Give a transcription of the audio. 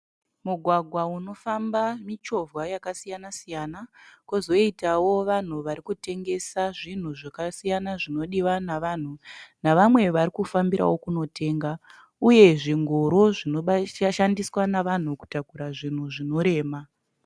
Mugwagwa unofamba michovha yaka siyana siyana . Kozoitawo vanhu varikutengesa zvinhu zvakasiyana zvinodiwa nevanhu navamwe varikufambira kunotenga. Uye zvingoro zvinoshandiswa navanhu kutakura zvinhu zvinorema.